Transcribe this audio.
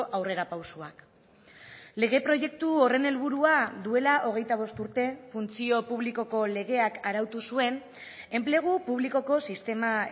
aurrerapausoak lege proiektu horren helburua duela hogeita bost urte funtzio publikoko legeak arautu zuen enplegu publikoko sistema